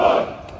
Sağ!